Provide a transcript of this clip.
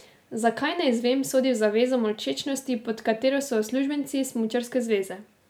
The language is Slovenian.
Zakaj, ne izvem, sodi v zavezo molčečnosti, pod katero so uslužbenci Smučarske zveze.